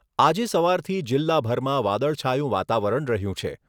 આજે સવારથી જિલ્લાભરમાં વાદળછાયું વાતાવરણ રહ્યું છે.